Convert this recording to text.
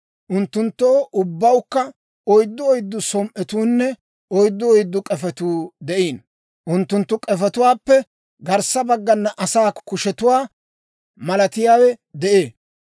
Unttunttoo ubbawukka oyddu oyddu som"otuunne, oyddu oyddu k'efetuu de'iino; unttunttu k'efetuwaappe garssa baggana asaa kushetuwaa malatiyaawe de'ee.